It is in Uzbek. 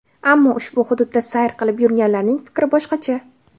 Ammo ushbu hududda sayr qilib yurganlarning fikri boshqacha.